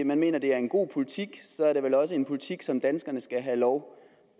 man mener det er en god politik så er det vel også en politik som danskerne skal have lov